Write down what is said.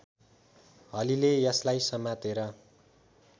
हलीले यसलाई समातेर